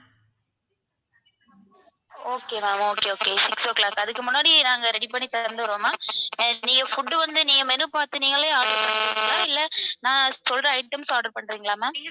okay ma'am okay okay six o'clock அதுக்கு முன்னாடி நாங்க ready பண்ணி தந்துடுறோம் ma'am நீங்க food வந்து நீங்க menu பாத்து நீங்களே order பண்றீங்களா இல்ல நான் சொல்ற items order பண்றீங்களா ma'am